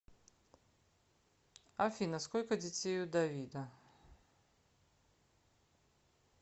афина сколько детей у давида